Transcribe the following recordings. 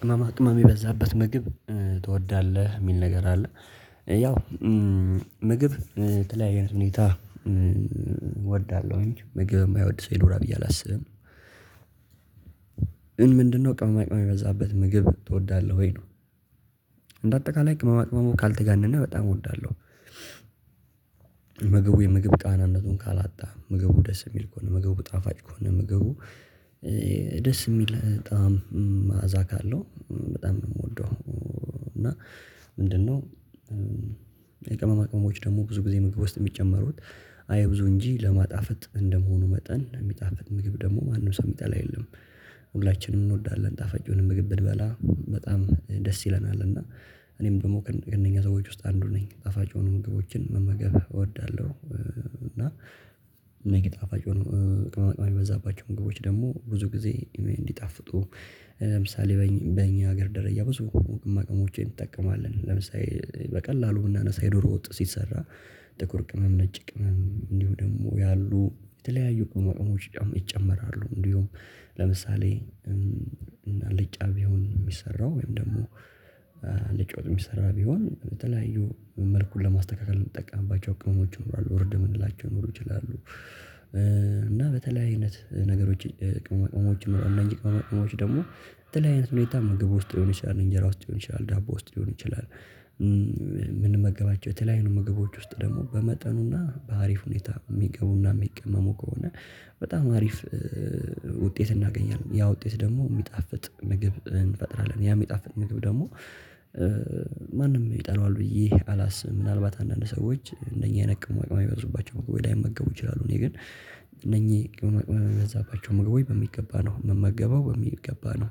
ቅመማ ቅመም የበዛበት ምግብ ትወዳለህ የሚል ነገር አለ? ያው ምግብ ተለያየ አይነት ሁኔታ እወዳለሁኝ ምግብ የማይወድ ሰው ይኖራል ብዬ አላስብም። ግን ምንድነው ቅመማ ቅመማ የበዛበት ምግብ ትወዳለህ ወይ ነው? እንደ አጠቃላይ ቅመማ ቅመሙ ካልተጋነነ በጣም እወዳለሁ። ምግቡ የምግብ ቃናነቱን ካላጣ ምግቡ ደስ የሚል ከሆነ ምግቡ ጣፋጭ ከሆነ ምግቡ ደስ የሚል በጣም ማዕዛ ካለው በጣም ነው የምወደው። እና ምንድን ነው? የቅመማ ቅመሞች ደግሞ ብዙ ጊዜ ምግብ ውስጥ የሚጨመሩት አይብዙ እንጂ ለማጣፈጥ እንደመሆኑ መጠን የሚጣፍጥ ምግብ ደግሞ ማንም ሰው የሚጠላ የለም። ሁላችንም እንወዳለን ጣፋጭ የሆነ ምግብ ብንበላ በጣም ደስ ይለናል። እና እኔም ደግሞ ከእነኛ ሰዎች ውስጥ አንዱ ነኝ ጣፋጭ የሆኑ ምግቦችን መመገብ እወዳለሁ። እና እነኚ ጣፋጭ የሆኑ ቅመማ ቅመም የበዛባቸው ምግቦች ደግሞ ብዙ ጊዜ እንዲጣፍጡ ለምሳሌ በእኛ ሀገር ደረጃ ብዙ ቅመማ ቅመሞችን እንጠቀማለን። ለምሳሌ በቀላሉ ብናነሳ የዶሮ ወጥ ሲሰራ ጥቁር ቅመም ነጭ ቅመም እንዲሁ ደግሞ ያሉ የተለያዩ ቅመማ ቅመሞች ይጨመራሉ እንዲሁም ለምሳሌ እና አልጫ ቢሆን የሚሰራው ወይም ደግሞ አልጫ ወጥ የሚሰራ ቢሆን ተለያዩ መልኩን ለማስተካከል የምንጠቀምባቸው ቅመሞች ይኖራሉ እርድ የምንላቸው ሊኖሩ ይችላሉ። እና በተለያየ አይነት ነገሮች ቅመማ ቅመሞች ነው እነዚህ ቅመማ ቅመሞች ደግሞ በተለያየ አይነት ሁኔታ ምግብ ውስጥ ሊሆን ይችላል እንጀራ ውስጥ ሊሆን ይችላል ዳቦ ውስጥ ሊሆን ይችላል። የምንመገባቸው የተለያዩ ምግቦች ውስጥ ደግሞ በመጠኑና በአሪፍ ሁኔታ የሚገቡና የሚቀመሙ ከሆነ በጣም አሪፍ። ውጤት እናገኛለን ያ ውጤት ደግሞ የሚጣፍጥ ምግብ እንፈጥራለን ያ የሚጣፍጥ ምግብ ደግሞ ማንም ይጠላዋል ብዬ አላስብም። ምናልባት አንዳንድ ሰዎች እንደኛ አይነት ቅመማ ቅመም የበዙባቸው ምግቦች ላይመገቡ ይችላሉ እኔ ግን እነኚህ ቅመማ ቅመም የበዛባቸው ምግቦች በሚገባ ነው ምመገበው በሚገባ ነው።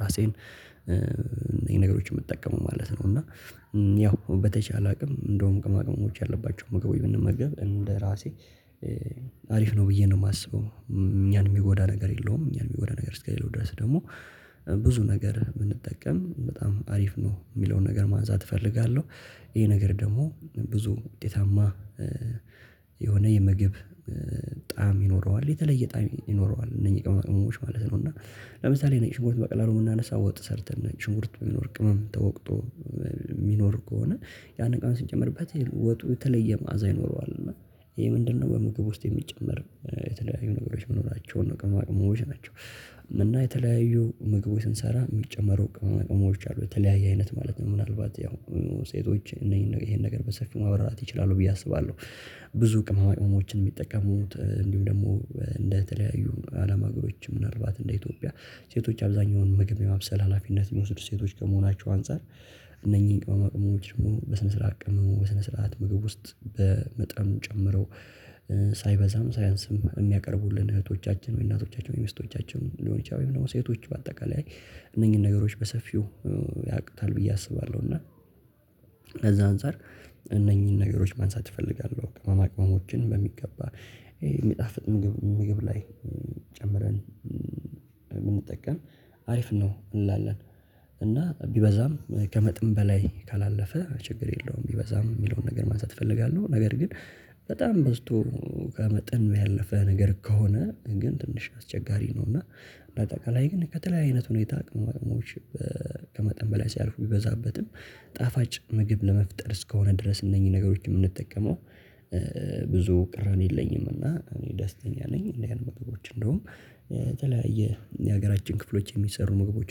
ራሴን ይሄ ነገሮችን የምጠቀመው ማለት ነው። እና ያው በተቻለ አቅም እንደውም ቅመማ ቅመምች ያለባቸው ምግቦች ብንመግብ እንደራሴ አሪፍ ነው ብዬ ነው የማስበው። እኛን የሚጎዳ ነገር የለውም እኛን የሚጎዳ ነገር እስከሌለው ድረስ ደግሞ ብዙ ነገር ብንጠቀም በጣም አሪፍ ነው የሚለውን ነገር ማንሳት እፈልጋለው። ይሄ ነገር ደሞ ብዙ ውጤታማ የሆነ የምግብ ጣዕም ይኖረዋል። የተለየ ጣዕም ይኖረዋል እነኚ ቅመማ ቅመሞች እና ለምሳሌ ነጭ ሽንኩርት በቀላሉ ብናነሳ ወጥ ሰርተን ነጭ ሽንኩርት ሚኖር ቅመም ተወቅጦ የሚኖር ከሆነ ያንን ቅመም ስንጨመርበት ወጡ የተለየ ማዕዛ ይኖረዋል። እና ይሄ ምንድነው? በምግብ ውስጥ የሚጨመር የተለያዩ ነገሮች መኖራናቸው ነው ቅመማ ቅመሞች ናቸው። እና የተለያዩ ምግቦች ስንሰራ የሚጨመሩ ቅመማ ቅመሞች አሉ የተለያየ አይነት ማለት ነው ምናልባት ያው ሴቶች ይሄን ነገር በሰፊው ማበራት ይችላሉ ብዬ አስባለሁ። ብዙ ቅማማቅሞችን የሚጠቀሙት እንዲሁም ደግሞ እንደተለያዩ አለም አገሮች ምናልባት እንደ ኢትዮጵያ ሴቶች አብዛኛውን ምግብ የማብሰል ሀላፊነት የሚወስዱ ሴቶች ከመሆናቸው አንፃር እነኚህን ቅመማ ቅመሞች በስነ ስርዓት ቀምሞ በስነ ስርዓት ምግብ ውስጥ በመጠን ጨምረው ሳይበዛም ሳያንስም የሚያቀርቡልን እህቶቻችን ወይ እናቶቻችን ወይ ሚስቶቻችን ሊሆን ይችላል ወይ ሴቶች በአጠቃላይ እነኚህን ነገሮች በሰፊው ያቁታል ብዬ አስባለሁ። እና ከዛ አንፃር እነኚህን ነገሮች ማንሳት እፈልጋለሁ ቅመማ ቅመሞችን በሚገባ ይሄ የሚጣፍጥ ምግብ ላይ ጨምረን ብንጠቀም አሪፍ ነው እንላለን። እና ቢበዛም ከመጠን በላይ ካላለፈ ችግር የለውም ቢበዛም የሚለውን ነገር ማንሳት እፈልጋለሁ። ነገር ግን በጣም በዝቶ ከመጠን ያለፈ ነገር ከሆነ ግን ትንሽ አስቸጋሪ ነው። እና እንደ አጠቃላይ ግን ከተለያዩ አይነት ሁኔታ ቅመማ ቅመሞች ከመጠን በላይ ሲያልፉ ቢበዛበትም ጣፋጭ ምግብ ለመፍጠር እስከሆነ ድረስ እነኚህ ነገሮችን የምንጠቀመው ብዙ ቅራኔ የለኝም። እና እኔ ደስተኛ ነኝ እንዲ አይነት ምግቦች እንደውም የተለያየ የሀገራችን ክፍሎች የሚሰሩ ምግቦች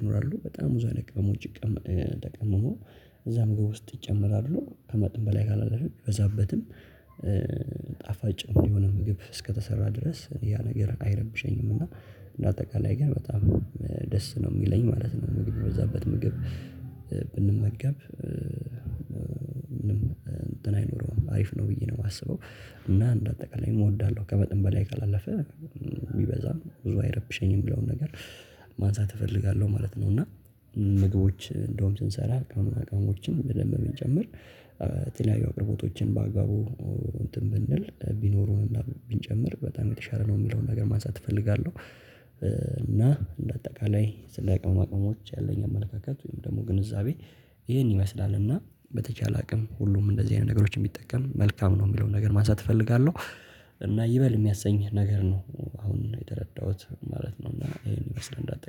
ይኖራሉ በጣም ብዙ አይነት ቅመሞች ተቀምሞ እዛ ምግብ ውስጥ ይጨምራሉ ከመጠን በላይ ካላለፈ ቢበዛበትም ጣፋጭ የሆነ ምግብ እስከተሰራ ድረስ ያ ነገር አይረብሸኝም። እና እንደ አጠቃላይ ግን በጣም ደስ ነው የሚለኝ ማለት ነው። ምግብ የበዛበት ምግብ ብንመገብ እንትን አይኖረውም አሪፍ ነው ብዬ ነው የማስበው። እና እንዳጠቃላይ እወዳለሁ ከመጠን በላይ ካላለፈ ቢበዛም ብዙ አይረብሸኝም የሚለው ነገር ማንሳት እፈልጋለሁ ማለት ነው። እና ምግቦች እንደውም ስንሰራ ቅመማ ቅመሞችን በደምብ ብንጨምር የተለያዩ አቅርቦቶችን በአግባቡ እንትን ብንል ቢኖሩንና ብንጨምር በጣም የተሻለ ነው የሚለውን ነገር ማንሳት እፈልጋለሁ። እና እንደ አጠቃላይ ስለ ቅመማ ቅመሞች ያለኝ አመለካከት ወይም ደግሞ ግንዛቤ ይህን ይመስላል። እና በተቻለ አቅም ሁሉም እንደዚ አይነት ነገሮችን ቢጠቀም መልካም ነው የሚለውን ነገር ማንሳት እፈልጋለው። እና ይበል የሚያሰኝ ነገር ነው። አሁን የተረዳሁት ማለት ነው። እና ይሄን ይመስላል እንደ አጠቃላይ